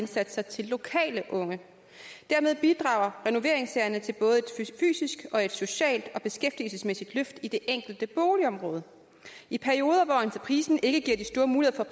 indsatser til lokale unge dermed bidrager renoveringssagerne til både et fysisk og et socialt og beskæftigelsesmæssigt løft i det enkelte boligområde i perioder hvor entreprisen ikke giver de store muligheder